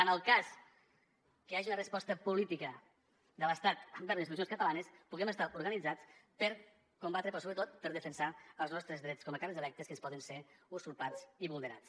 en el cas que hi hagi una resposta política de l’estat envers les institucions catalanes que puguem estar organitzats per combatre però sobretot per defensar els nostres drets com a càrrecs electes que ens poden ser usurpats i vulnerats